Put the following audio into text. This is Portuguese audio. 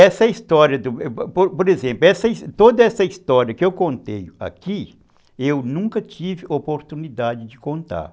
Essa história, por exemplo, toda essa história que eu contei aqui, eu nunca tive oportunidade de contar.